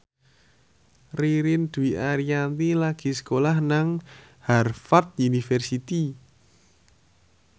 Ririn Dwi Ariyanti lagi sekolah nang Harvard university